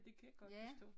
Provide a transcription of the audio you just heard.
Det kan jeg godt forstå